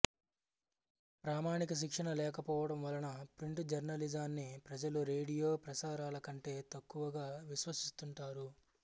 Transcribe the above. ప్రామాణిక శిక్షణ లేకపోవటం వలన ప్రింటు జర్నలిజాన్ని ప్రజలు రేడియో ప్రసారాలకంటే తక్కువగా విశ్వసిస్తుంటారు